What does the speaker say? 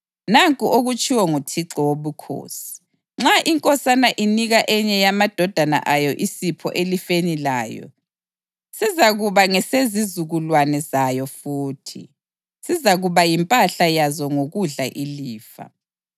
Nanku okutshiwo nguThixo Wobukhosi: Nxa inkosana inika enye yamadodana ayo isipho elifeni layo, sizakuba ngesezizukulwane zayo futhi; sizakuba yimpahla yazo ngokudla ilifa.